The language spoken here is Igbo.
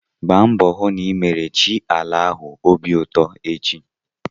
Gba mbọ hụ na ị mere chi ala ahụ obi ụtọ echi!